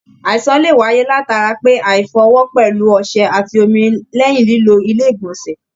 Àìsàn lè wáyé latari pé aifọ ọwọ pẹlú ọsẹ àti omi lẹyìn lilo ilé igbọnsẹ.